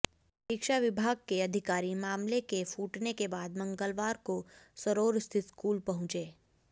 शिक्षा विभाग के अधिकारी मामले के फूटने के बाद मंगलवार को सरोरा स्थित स्कूल पहुंचे